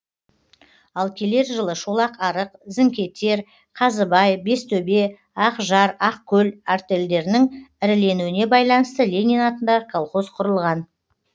ал келер жылы шолақ арық зіңкетер қазыбай бестөбе ақжар ақкөл артельдерінің іріленуіне байланысты ленин атындағы колхоз құрылған